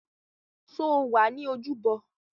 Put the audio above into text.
Sọ wà ní ojúbọ?